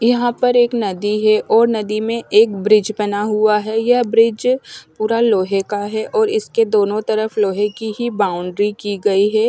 यहां पर एक नदी है और नदी में एक ब्रिज बना हुआ है यह ब्रिज पूरा लोहे का है और इसके दोनों तरफ लोहे की ही बाउंड्री की गई है।